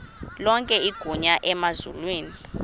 lonke igunya emazulwini